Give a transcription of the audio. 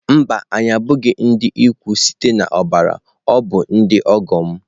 Mba, anyị abụghị ndị ikwu site na ọbara ọ bụ ndị ọgọ m.